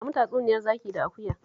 Ba mu tatsuniyar zaki da akuya